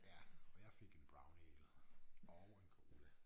Ja og jeg fik en brownie eller og en cola